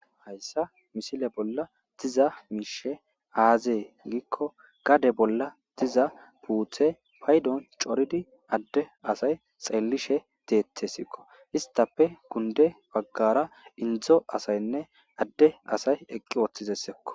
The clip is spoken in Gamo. hayssa misile bolla diza miishe aazee giikko gade bolla diza puuthe paydon coridi adde asay xeellishe deete sikko istape kunde baggara indzo asaynne adde asay eqqi ooththizessekko